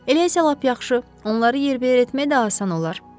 Elə isə lap yaxşı, onları yerbəyer etmək də asan olar.